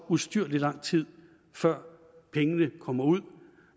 ustyrlig lang tid før pengene kommer ud